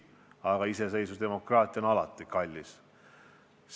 Aga iseseisvus ja demokraatia on alati kallis.